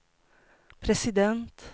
president